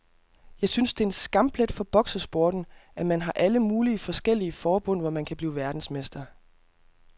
Jeg synes det er en skamplet for boksesporten, at man har alle mulige forskellige forbund, hvor man kan blive verdensmester.